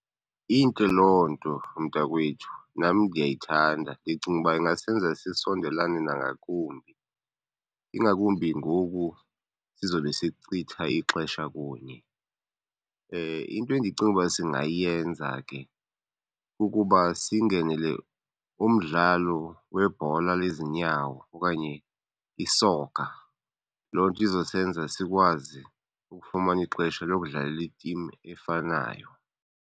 Intle loo nto mntakwethu, nam ndiyayithanda. Ndicinga uba ingasenza sisondelane nangakumbi ingakumbi ngoku sizobe sichitha ixesha kunye. Into endicinga uba singayenza ke kukuba singenele umdlalo webhola lezinyawo okanye isoka. Loo nto izosenza sikwazi ukufumana ixesha lokudlalela i-team efanayo.